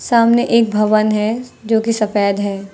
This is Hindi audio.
सामने एक भवन है जो कि सफेद है।